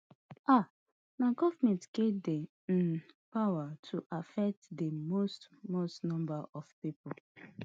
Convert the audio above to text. um na govment get di um power to affect di most most number of pipo